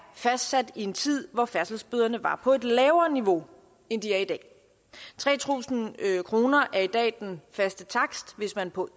fastsat i en tid hvor færdselsbøderne var på et lavere niveau end de er i dag tre tusind kroner er i dag den faste takst hvis man på